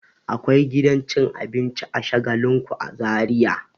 Akwai gidan cin abincin Shagalinku a Zariya.